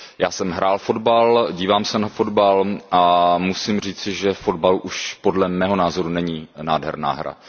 Já jsem hrál fotbal, dívám se na fotbal a musím říci, že fotbal už, podle mého názoru, není nádherná hra.